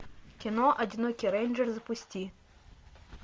кино одинокий рейнджер запусти